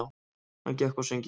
Hann gekk á sönginn.